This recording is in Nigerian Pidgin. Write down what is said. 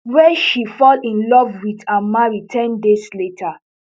wey she fall in love with and marry ten days later